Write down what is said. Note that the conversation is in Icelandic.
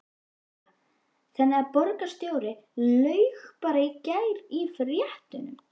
Lára: Þannig að borgarstjóri laug bara í gær í fréttum?